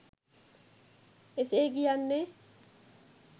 එසේ කියන්නේ